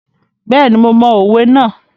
Bẹ́ẹ̀ni, mo mọ òwe náà.